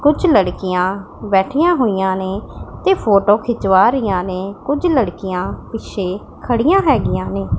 ਕੁਝ ਲੜਕੀਆਂ ਬੈਠੀਆਂ ਹੋਈਆਂ ਨੇ ਤੇ ਫੋਟੋ ਖਿਚਵਾ ਰਹੀਆਂ ਨੇ ਕੁਝ ਲੜਕੀਆਂ ਪਿੱਛੇ ਖੜੀਆਂ ਹੈਗੀਆਂ ਨੇ।